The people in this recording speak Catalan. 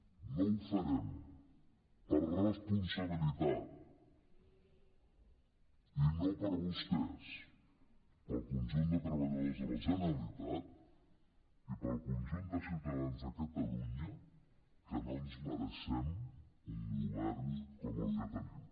no ho farem per responsabilitat i no per vostès ni pel conjunt de treballadors de la generalitat i pel conjunt de ciutadans de catalunya que no ens mereixem un govern com el que tenim